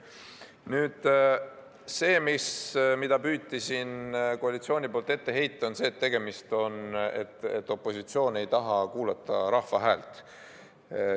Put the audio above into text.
Koalitsioon püüdis siin ette heita, et opositsioon ei taha kuulata rahva häält.